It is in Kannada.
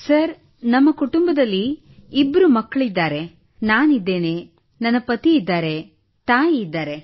ಸರ್ ನಮ್ಮ ಕುಟುಂಬದಲ್ಲಿ ಇಬ್ಬರು ಮಕ್ಕಳಿದ್ದಾರೆ ನಾನಿದ್ದೇನೆ ನನ್ನ ಪತಿ ಇದ್ದಾರೆ ತಾಯಿ ಇದ್ದಾರೆ